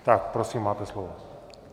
Tak prosím, máte slovo.